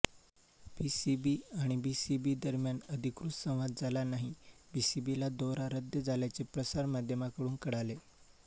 PCB आणि BCB दरम्यान अधिकृत संवाद झाला नाही बीसीबीला दौरा रद्द झाल्याचे प्रसारमाध्यमांकडून कळाले